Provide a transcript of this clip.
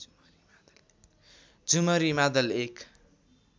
झुमरी मादल एक